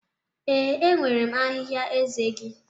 Ee, enwere m ahịhịa eze gị